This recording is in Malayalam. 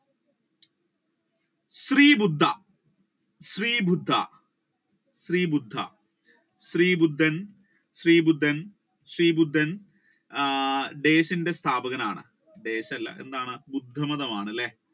ശ്രീ ബുദ്ധ ശ്രീ ബുദ്ധ ശ്രീ ബുദ്ധ ശ്രീ ബുദ്ധൻ ശ്രീ ബുദ്ധൻ ശ്രീ ബുദ്ധൻ ആഹ് ദേശിന്റെ സ്ഥാപകനാണ് ദേശ് അല്ല എന്താണ് ബുദ്ധമതം ആണല്ലേ.